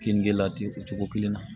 Kini lati o cogo kelen na